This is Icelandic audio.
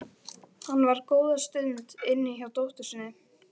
Hann var góða stund inni hjá dóttur sinni.